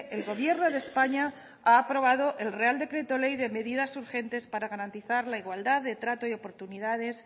el gobierno de españa ha aprobado el real decreto ley de medidas urgentes para garantizar la igualdad de trato y oportunidades